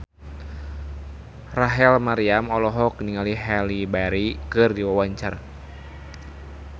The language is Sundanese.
Rachel Maryam olohok ningali Halle Berry keur diwawancara